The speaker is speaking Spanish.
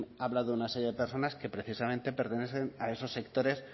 ha hablado de una serie de personas que precisamente pertenecen a esos sectores